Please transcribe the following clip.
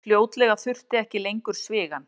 Fljótlega þurfti ekki lengur svigann.